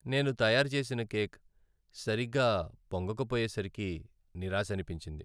నేను తయారు చేసిన కేక్ సరిగ్గా పొంగకపోయేసరికి నిరాశనిపించింది.